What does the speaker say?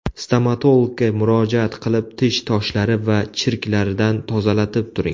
Stomatologga murojaat qilib, tish toshlari va chirklaridan tozalatib turing.